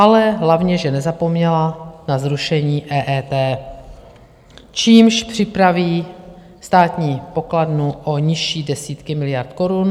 Ale hlavně že nezapomněla na zrušení EET, čímž připraví státní pokladnu o nižší desítky miliard korun.